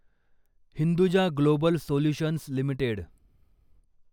Hinduja global solutions limited